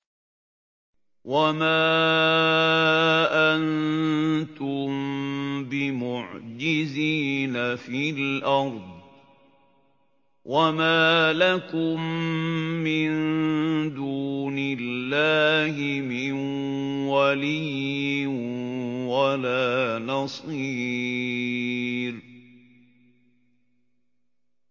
وَمَا أَنتُم بِمُعْجِزِينَ فِي الْأَرْضِ ۖ وَمَا لَكُم مِّن دُونِ اللَّهِ مِن وَلِيٍّ وَلَا نَصِيرٍ